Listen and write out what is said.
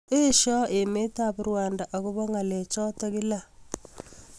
Eshoi emet ap Rwanda agobo kalek choto kila